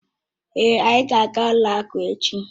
Èé, anyị ga aga ụlọ akụ echi